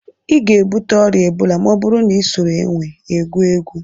Ị ga-ebute ọrịa ebola ma ọ bụrụ na ị soro énwè egwu egwu